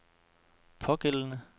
pågældende